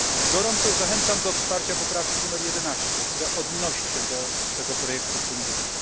Gorąco zachęcam do wsparcia poprawki numer 11, która odnosi się do tego projektu funduszu.